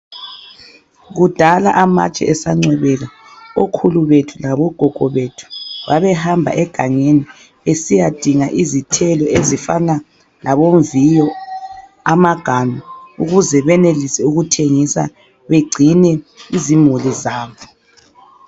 Kudala amatshe esancwebeka ,okhulu bethu labo gogo bethu babehamba egangeni besiya dinga izithelo ezifana labomviyo ,amaganu ukuze benelise ukuthengisa begcine izimuli zabo.